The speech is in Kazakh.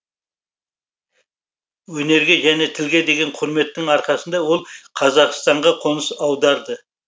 өнерге және тілге деген құрметтің арқасында ол қазақстанға қоныс аударды